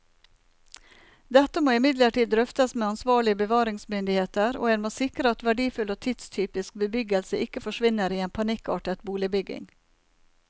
Dette må imidlertid drøftes med ansvarlige bevaringsmyndigheter, og en må sikre at verdifull og tidstypisk bebyggelse ikke forsvinner i en panikkartet boligbygging.